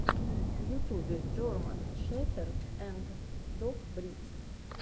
в ютубе джорман шеферд анд дог бридс